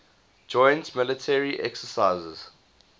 joint military exercises